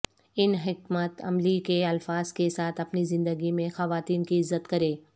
ان حکمت عملی کے الفاظ کے ساتھ اپنی زندگی میں خواتین کی عزت کریں